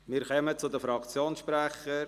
Wir kommen zu den Fraktionssprechern.